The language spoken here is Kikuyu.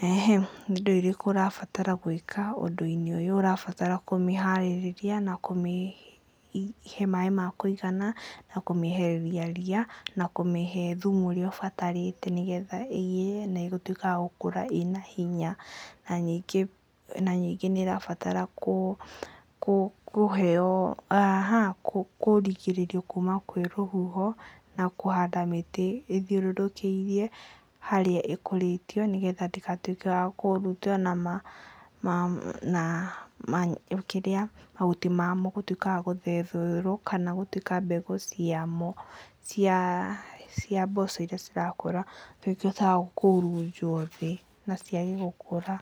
Nĩ indo irĩkũ ũrabatara gwĩka ũndũ-inĩ ũyũ? ũrabatara kũmĩharĩria na kũmĩhe maĩ ma kũigana na kũmĩehereria ria, na kũmĩhe thumu ũrĩa ũbatarĩte nĩgetha ĩgĩe na gũtuĩka ya gũkũra ĩna hinya, na ningĩ nĩ ĩrabatara kũrigĩrĩrio kuma kwĩ rũhuho na kũhanda mĩtĩ ĩthiũrũrũkĩirie harĩa ĩkũrĩtio nĩgetha ndĩgatuĩke ya kũhutio na mahuti mamo gũtuĩka ma gũthethũrwo kana gũtuĩka mbegũ ciamo cia mboco iria cirakũra cituĩke cia kũhurunjwo thĩ na ciage gũkũra.